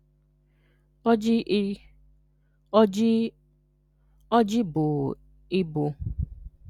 ọjị I ọjị ọjị bụ i bụ